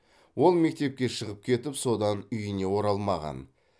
ол мектепке шығып кетіп содан үйіне оралмаған